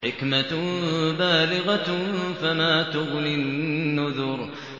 حِكْمَةٌ بَالِغَةٌ ۖ فَمَا تُغْنِ النُّذُرُ